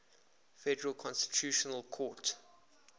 federal constitutional court